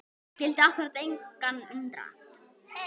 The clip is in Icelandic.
Og skyldi akkúrat engan undra!